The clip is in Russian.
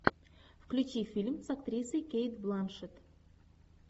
включи фильм с актрисой кейт бланшетт